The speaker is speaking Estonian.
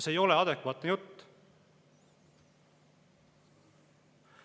See ei ole adekvaatne jutt.